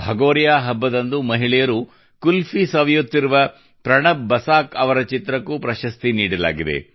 ಭಗೋರಿಯಾ ಹಬ್ಬದಂದು ಮಹಿಳೆಯರು ಕುಲ್ಫಿ ಸವಿಯುತ್ತಿರುವ ಪ್ರಣಬ್ ಬಸಾಕ್ ಅವರ ಚಿತ್ರಕ್ಕೂ ಪ್ರಶಸ್ತಿ ನೀಡಲಾಗಿದೆ